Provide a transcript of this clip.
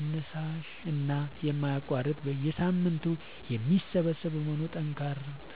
አነሳሽና የማይቋረጥ በየሳምንቱ የሚሰበሰብ በመሆኑ